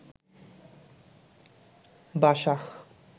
বাসা